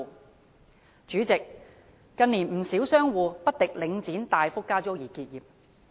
代理主席，近年不少商戶因不敵領展大幅加租而結業。